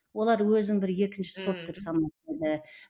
олар өзін бір екінші сорт деп еді